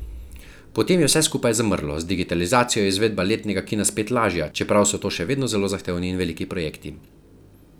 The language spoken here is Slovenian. Potem je vse skupaj zamrlo, z digitalizacijo je izvedba letnega kina spet lažja, čeprav so to še vedno zelo zahtevni in veliki projekti.